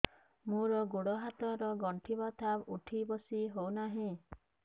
ମୋର ଗୋଡ଼ ହାତ ର ଗଣ୍ଠି ବଥା ଉଠି ବସି ହେଉନାହିଁ